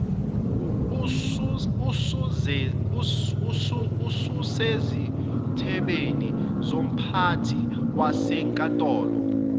ususezithebeni zomphathi wasenkantolo